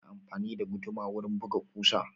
Ana amfani da guduma wurin buga ƙusa.